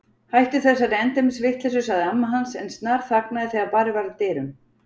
Hættu þessari endemis vitleysu sagði amma hans en snarþagnaði þegar barið var að dyrum.